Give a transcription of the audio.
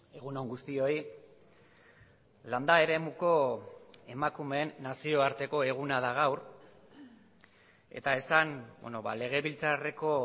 egunon guztioi landa eremuko emakumeen nazioarteko eguna da gaur eta esan legebiltzarreko